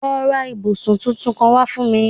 Lọ ra ibusun titun kan fun mi